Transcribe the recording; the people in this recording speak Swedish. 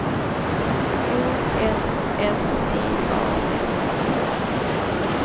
O S S I A N